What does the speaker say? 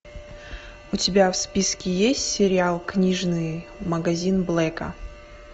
у тебя в списке есть сериал книжный магазин блэка